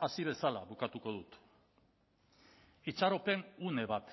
hasi bezala bukatuko dut itxaropen une bat